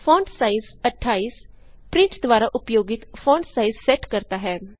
font size 28 print द्वारा उपयोगित font size set करता है